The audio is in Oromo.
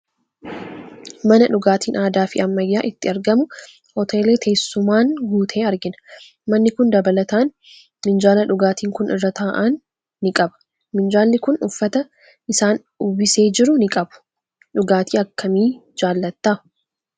Mana dhugaatiin aadaa fi ammayyaa itti argamu hoteela teessumaan guute argina. Manni kun dabalataan minjaala dhugaatiin kun irra taa'an ni qaba. Minjaalli kun uffata isaan uwwisee jiru ni qabu. Dhugaatii akkamii jaalatta?